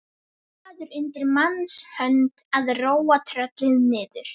Maður undir manns hönd að róa tröllið niður.